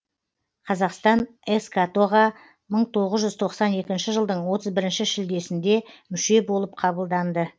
қазақстан эскато ға мың тоғыз жүз тоқсан екінші жылдың отыз бірінші шілдесінде мүше болып қабылданды